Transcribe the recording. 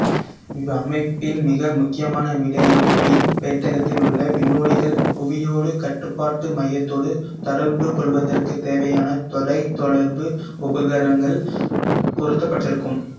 இவ்வமைப்பின் மிக முக்கியமான விடயம் விண்பெட்டகத்திலுள்ள விண்ணோடிகள் புவியோடு கட்டுப்பாட்டு மையத்தோடு தொடர்புகொள்வதற்குத் தேவையான தொலைத்தொடர்பு உபகரணங்கள் பொருத்தப்பட்டிருக்கும்